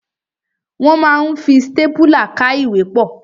Wọ́n ma ń fi stápùlà ká ìwé pọ̀.